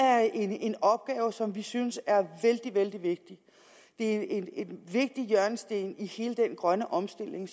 er en opgave som vi synes er vældig vældig vigtig det er en vigtig hjørnesten i hele den grønne omstilling